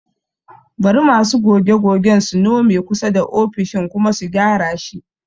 Bari masu goge-gogen su nome kusa da ofishin kuma su gyara shi